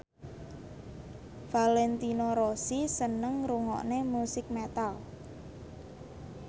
Valentino Rossi seneng ngrungokne musik metal